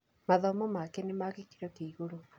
Mathomo make nĩ ma gĩkĩro kĩa igũrũ